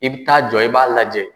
I bi taa jɔ i b'a lajɛ.